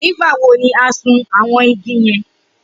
Nigbawo ni a sun awọn igi yẹn?